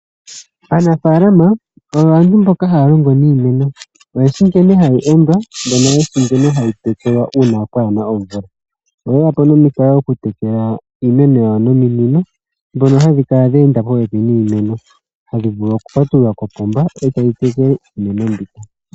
Aanafaalama oyo aantu mboka ha ya longo niimeno. Oyeshi nkene hayi endwa mbono ye shi nkene hayi tekelwa uuna pwaa na omvula. Oye ya po nomikalo okutekela iimeno yawo nominino ndhono hadhi kala dha enda popepi niimeno. Hadhi vulu oku patulula kopomba e tayi tekele iimeno mbi.